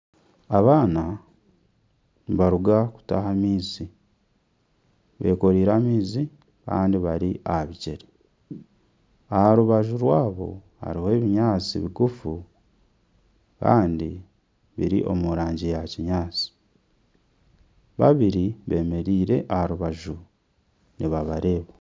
Abaana nibaruga kutaaha amaizi, bekoreire amaizi kandi bari aha bigyere. Aha rubaju rwabo hariho ebinyaatsi bigufu kandi biri mu rangi ya kinyaatsi. Babiri bemereire aha rubaju nibabareeba,